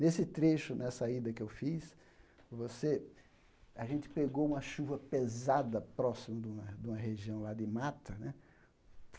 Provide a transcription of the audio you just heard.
Nesse trecho, nessa ida que eu fiz, você a gente pegou uma chuva pesada próximo de uma de uma região lá de mata né.